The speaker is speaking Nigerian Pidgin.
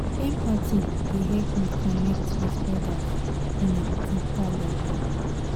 empathy dey help me connect with others on a deeper level.